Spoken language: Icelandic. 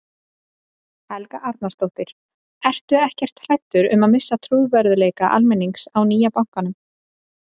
Helga Arnarsdóttir: Ertu ekkert hræddur um að missa trúverðugleika almennings á nýja bankanum?